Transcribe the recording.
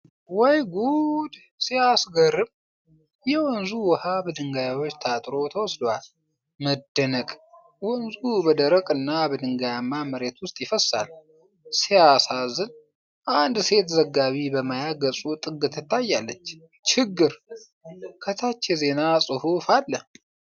ወይ ጉድ ሲያስገርም! የወንዙ ውሃ በድንጋዮች ታጥሮ ተወስዷል። መደነቅ! ወንዙ በደረቅ እና በድንጋያማ መሬት ውስጥ ይፈሳል። ሲያሳዝን! አንድ ሴት ዘጋቢ በማያ ገጹ ጥግ ትታያለች። ችግር! ከታች የዜና ፅሁፍ አለ።